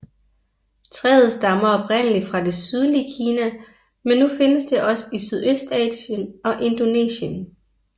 Træet stammer oprindeligt fra det sydlige Kina men nu findes det også i Sydøstasien og Indonesien